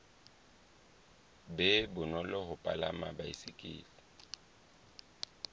be bonolo ho palama baesekele